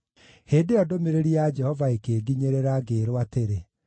Hĩndĩ ĩyo ndũmĩrĩri ya Jehova ĩkĩnginyĩrĩra, ngĩĩrwo atĩrĩ: